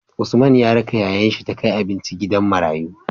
Usman ya raka yayar shi ta kai abinci gidan marayu